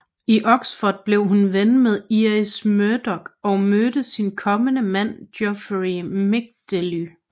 I Oxford blev hun ven med Iris Murdoch og mødte sin kommende mand Geoffrey Midgley